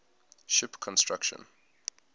ship construction